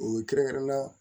O kɛrɛnkɛrɛnnenya la